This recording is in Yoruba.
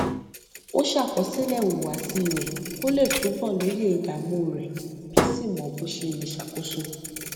ó ṣàkọsílẹ ìhùwàsí rẹ kó lè túbọ lóye ìdààmú rẹ kó sì mọ bó ṣe lè ṣàkóso